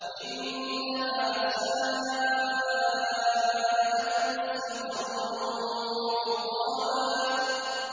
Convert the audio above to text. إِنَّهَا سَاءَتْ مُسْتَقَرًّا وَمُقَامًا